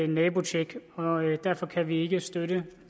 nabotjek og derfor kan vi ikke støtte